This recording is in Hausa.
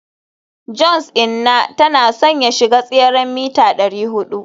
johns inna tana son ya shiga tseren mita dari hudu